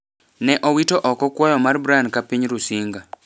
ne owito oko kwayo mar Brian ka piny Rusinga